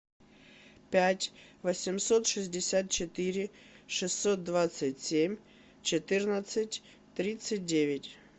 пять восемьсот шестьдесят четыре шестьсот двадцать семь четырнадцать тридцать девять